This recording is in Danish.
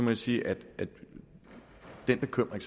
jeg sige at den bekymring